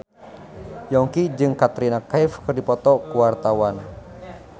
Yongki jeung Katrina Kaif keur dipoto ku wartawan